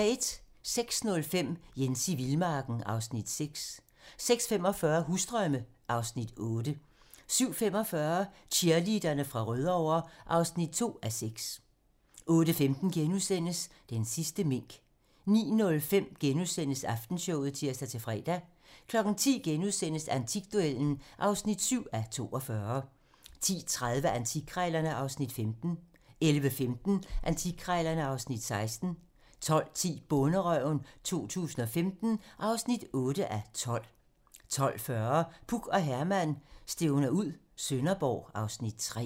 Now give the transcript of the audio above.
06:05: Jens i vildmarken (Afs. 6) 06:45: Husdrømme (Afs. 8) 07:45: Cheerleaderne fra Rødovre (2:6) 08:15: Den sidste mink * 09:05: Aftenshowet *(tir-fre) 10:00: Antikduellen (7:42)* 10:30: Antikkrejlerne (Afs. 15) 11:15: Antikkrejlerne (Afs. 16) 12:10: Bonderøven 2015 (8:12) 12:40: Puk og Herman stævner ud - Sønderborg (Afs. 3)